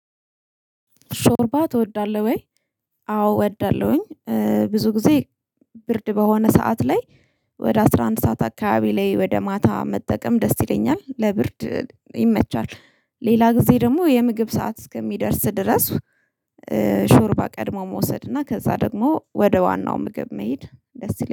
ሾርባ ትወዳለህ ወይ? አዎ እወዳለሁኝ ብዙ ጊዜ ብርድ በሆነ ሰዓት ላይ ወደ አስራ አንድ ሰዓት አካባቢ ላይ ወደ ማታ መጠቀም ደስ ይለኛል ለብርድ ይመቻል ሌላ ጊዜ ደግሞ የምግብ ሰዓት እስከሚደርስ ድረስ ሾርባ ቀድሞ መውሰድ እና ከዛ ደግሞ ወደ ዋናው ምግብ መሄድ ደስ ይለኛል።